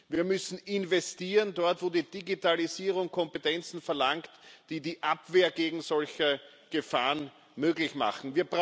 Wir müssen dort investieren, wo die Digitalisierung Kompetenzen verlangt, die die Abwehr gegen solche Gefahren möglich machen.